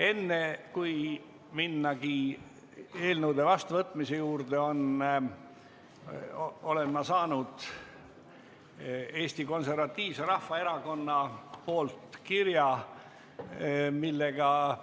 Enne kui minna eelnõude seadusena vastuvõtmise juurde, annan teada, et ma olen saanud Eesti Konservatiivselt Rahvaerakonnalt kirja, milles